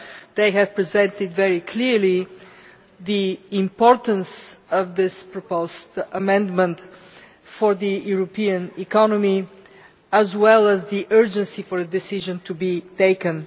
They have presented very clearly the importance of this proposed amendment for the European economy, as well as the urgent need for a decision to be taken.